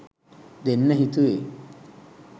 දෙන්න හිතුවේ.